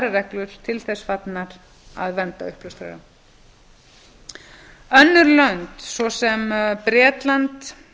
aðrar reglur til þess fallnar að vernda uppljóstrara önnur lönd svo sem bretland